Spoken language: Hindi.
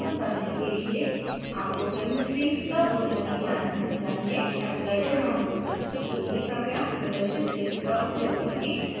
इस tutorial का अनुसरण करने के लिए आपको chemistry यानि रसायन शास्त्र का बुनियादी ज्ञान होना चाहिए avogadro डाउनलोड करने के लिए कृपया प्रदर्शित लिंक का उपयोग करें sourceforge net/projects/avogadro